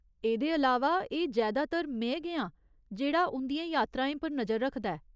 एह्दे अलावा, एह् जैदातर में गै आं जेह्ड़ा उं'दियें यात्राएं पर नजर रखदा ऐ।